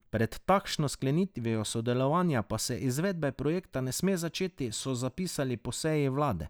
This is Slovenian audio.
Pred takšno sklenitvijo sodelovanja pa se izvedbe projekta ne sme začeti, so zapisali po seji vlade.